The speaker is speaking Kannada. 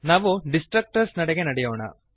ನಾವು ಡಿಸ್ಟ್ರಕ್ಟರ್ಸ್ ನೆಡೆಗೆ ನಡೆಯೋಣ